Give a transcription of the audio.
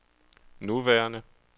nuværende